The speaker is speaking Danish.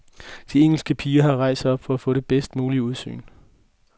De engelske piger har rejst sig op for at få det bedst mulige udsyn.